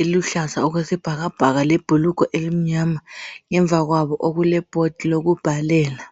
eluhlaza okwesibhakabhaka lebhulugwe elimnyama ngemuva kwabo okule board lokubhalela.